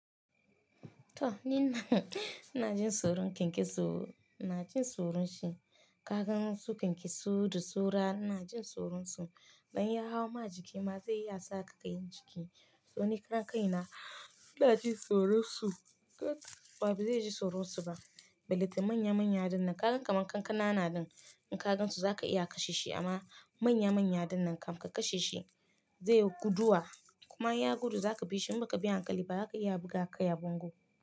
To Nina ina jin tsoro ken ke so, ina jin tsoron shi. Kaga su ken ke so, da so ra ina jin tsoron su. Dan ya hau ma jiki ma zaiya sa kai kai jiki. To ni kankaina ina jin tsoron su. Wa ba zai ji tsoron su ba. Belita manya manya dinnan ka gan kamar kankana na din in ka gansu za ka iya kashe shi amma manya manya dinnan kam ka kashe shi zai guduwa kuma in ya gudu za ka bi shi in ba ka bi han kali ba haka ya buga ka ya bango.